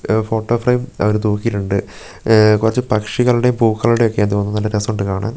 Photo frame അവര് തൂക്കിട്ടുണ്ട് ഉം കുറച്ചു പക്ഷികളുടെയും പൂക്കളുടെയും ഒക്കെയാന്ന് തോന്നുന്നു നല്ല രസമുണ്ട് കാണാൻ.